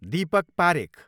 Deepak Parekh